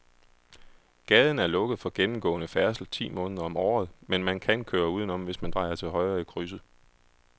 Gaden er lukket for gennemgående færdsel ti måneder om året, men man kan køre udenom, hvis man drejer til højre i krydset.